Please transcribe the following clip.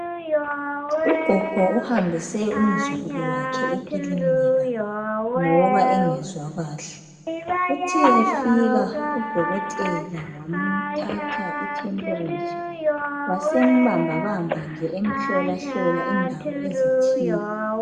Ugogo uhambise umzukulu wakhe ekilinika ngoba engezwakahle Uthe efika udokotela wamthatha I temperature wasembambabamba nje emhlolahlola indawo ezithile